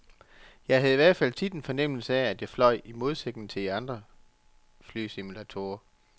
Jeg havde i al fald tit en fornemmelse af, at jeg fløj, i modsætning til i andre flysimulatorer.